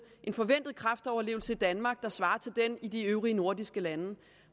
en forventet kræftoverlevelse i danmark der svarer til den i de øvrige nordiske lande